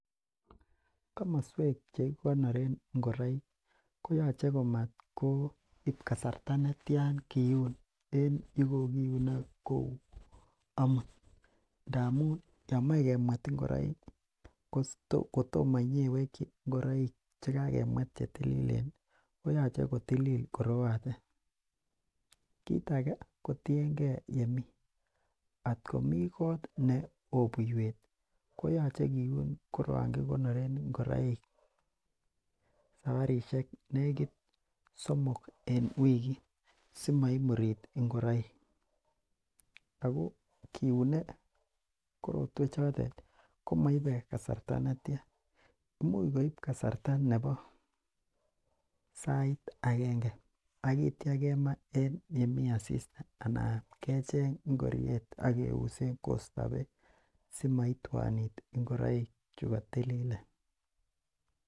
Komosuek chikiko noren ingoraik koyoche komat koib kasarta netian komakiunen yekokiune en amut ndamun yomeche kemwet ingoraik koyoche kotilil koroatet kit age kotienge yemii ingoraik at komi kot neoo buiweet koyoche kiun koroan kikonoreen ingoraik sabarisiek negit somok en wigit . Simaimurit ingoraik ago kiune korotuen choton komaibe kasarta netian. Imuch koib kasarta nebo sait agenge aitia kema en yemii asista anan kecheng ingoriet ageuse bek simaituanit ingoraik Chuga tililen